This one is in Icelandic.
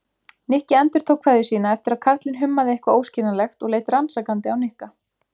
Nikki endurtók kveðju sína eftir að karlinn hummaði eitthvað óskiljanlegt og leit rannsakandi á Nikka.